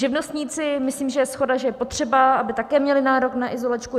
Živnostníci - myslím, že je shoda, že je potřeba, aby také měli nárok na izolačku.